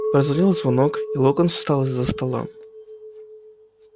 прозвенел звонок и локонс встал из-за стола